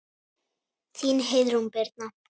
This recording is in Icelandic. Þín Heiðrún Birna.